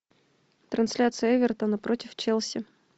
трансляция эвертона против челси